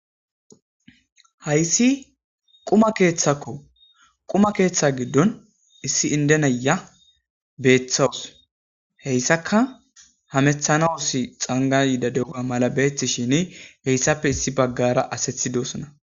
hayssi quma keeththakko quma keeththa giddon issi indenaya beeththawus heyssaka hamethanausi xanga yiida de7a mala beeththi shini heyssappe issi baggara asethidosona